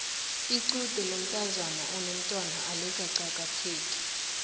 lqude lomntazana onomtwana alikaqakatheki